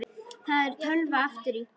Það er tölva aftur í.